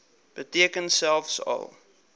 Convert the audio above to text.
beteken selfs al